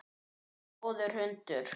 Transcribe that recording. Góður hundur.